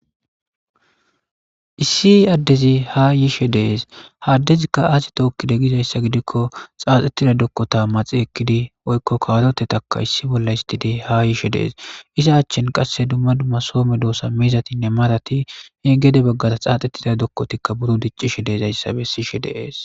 issi addezi ha yiishe dees haddezikka aasi tookkide gizayssa gidikko xaaxettida dokkota maxi ekkidi oykko kawarotetaka issi bolla histide ha yishe dees isa achchen qasse dumma dumma soome doosa miizatinne marati he gede baggara xaaxettida dokkotikka buro diccishe deezayssa be sishe dees